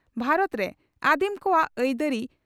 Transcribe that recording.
ᱵᱷᱟᱨᱚᱛ ᱨᱮ ᱟᱹᱫᱤᱢ ᱠᱚᱣᱟᱜ ᱟᱹᱭᱫᱟᱹᱨᱤ